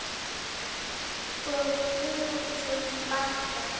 Helga: Jæja, hvernig er heilsan?